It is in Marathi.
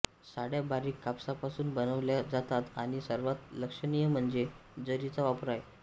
साड्या बारीक कापसापासून बनवल्या जातात आणि सर्वात लक्षणीय म्हणजे जरीचा वापर आहे